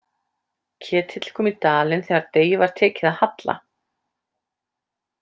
Ketill kom í dalinn þegar degi var tekið að halla.